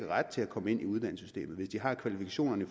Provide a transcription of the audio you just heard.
ret til at komme ind i uddannelsessystemet hvis de har kvalifikationerne